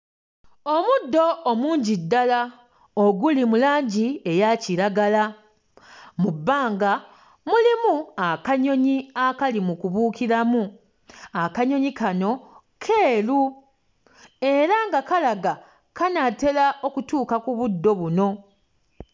Omuddo omungi ddala oguli mu langi eya kiragala, mu bbanga mulimu akanyonyi akali mu kubuukiramu, akanyonyi kano keeru era nga kalaga kanaatera okutuuka ku buddo buno.